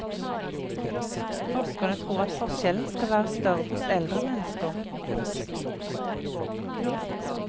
Forskerne tror at forskjellen skal være større hos eldre mennesker.